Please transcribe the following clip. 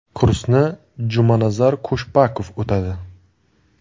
Kursni Jumanazar Khushbakov o‘tadi.